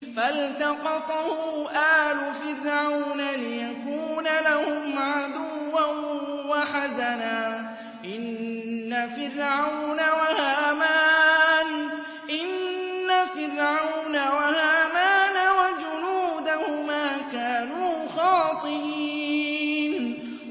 فَالْتَقَطَهُ آلُ فِرْعَوْنَ لِيَكُونَ لَهُمْ عَدُوًّا وَحَزَنًا ۗ إِنَّ فِرْعَوْنَ وَهَامَانَ وَجُنُودَهُمَا كَانُوا خَاطِئِينَ